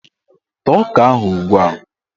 Taa ọka ahụ ugbua!